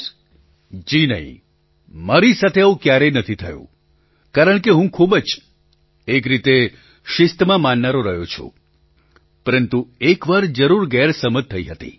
પ્રધાનમંત્રી જી નહીં મારી સાથે આવું ક્યારેય નથી થયું કારણ કે હું ખૂબ જ એક રીતે શિસ્તમાં માનનારો રહ્યો છું પરંતુ એક વાર જરૂર ગેરસમજ થઈ હતી